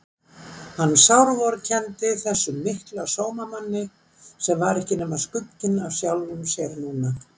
Hann sárvorkenndi þessum mikla sómamanni sem var ekki nema skugginn af sjálfum sér núna.